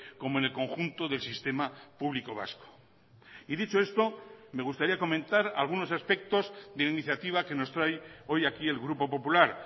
como en el conjunto del sistema público vasco y dicho esto me gustaría comentar algunos aspectos de la iniciativa que nos trae hoy aquí el grupo popular